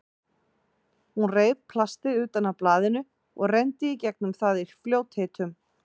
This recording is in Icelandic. Hún reif plastið utan af blaðinu og renndi í gegnum það í fljótheitum.